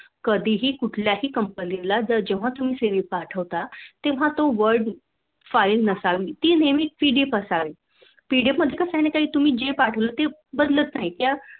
कधीही कुठल्याही Company ला जर जेव्हा तुम्ही CV पाठवता ती Word file नसावी ती नेहमी PDF असावी PDF म्हणजे का न खाई तुम्ही जे पाठवलं ते बंदच राहील